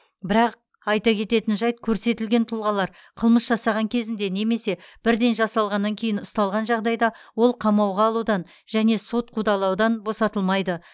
бірақ айта кететін жайт көрсетілген тұлғалар қылмыс жасаған кезінде немесе бірден жасалғаннан кейін ұсталған жағдайда ол қамауға алудан және сот қудалауынан босатылмайды